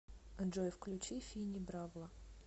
джой включи финни бравла